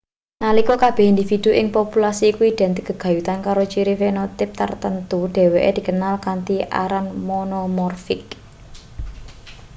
nalika kabeh individu ing populasi iku identik gegayutan karo ciri fenotipe tartamtu dheweke dikenal kanthi aran monomorfik